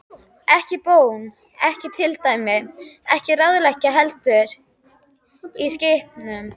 Ekki bón, ekki tilmæli, ekki ráðlegging, heldur skipun.